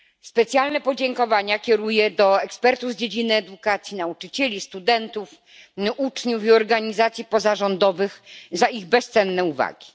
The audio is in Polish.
Specjalne podziękowania kieruję do ekspertów z dziedziny edukacji, nauczycieli, studentów, uczniów i organizacji pozarządowych za ich bezcenne uwagi.